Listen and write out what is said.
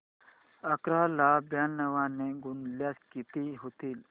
अकरा ला ब्याण्णव ने गुणल्यास किती होतील